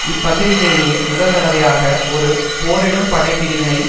இப்பகுதியிலேயே முதல் தடவையாக ஒரு போரிடும் படை பிரிவை